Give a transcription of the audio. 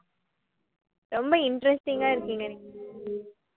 ரொம்ப interesting ஆ இருக்கீங்க நீங்க